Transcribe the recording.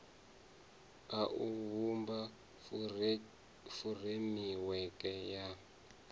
a u vhumba furemiweke ya